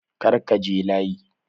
Kar ka je layi!